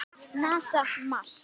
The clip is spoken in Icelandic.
NASA- Mars.